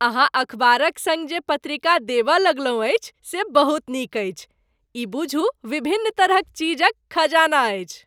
अहाँ अखबारक सङ्ग जे पत्रिका देबऽ लगलहुँ अछि से बहुत नीक अछि। ई बुझू विभिन्न तरहक चीज क खजाना अछि।